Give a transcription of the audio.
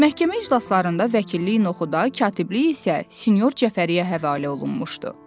Məhkəmə iclaslarında vəkilliyi Noxuda, katibliyi isə sinyor Cəfəriyə həvalə olunmuşdu.